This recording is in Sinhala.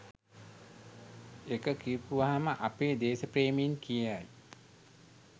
එක කියපුවම අපේ දේශප්‍රේමීන් කියයි